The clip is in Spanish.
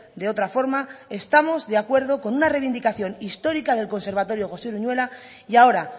de otra forma estamos de acuerdo con una reivindicación histórica del conservatorio josé uruñuela y ahora